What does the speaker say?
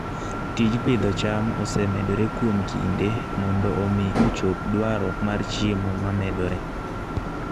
Tij pidho cham osemedore kuom kinde mondo omi ochop dwaro mar chiemo ma medore.